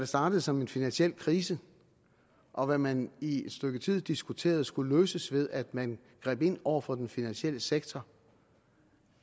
startede som en finansiel krise og hvad man i et stykke tid diskuterede skulle løses ved at man greb ind over for den finansielle sektor